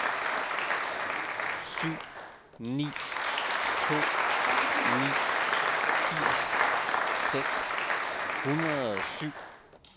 syv ni to ni firs seks hundrede og syv